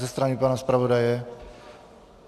Ze strany pana zpravodaje?